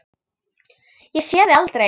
Ég sé þig aldrei.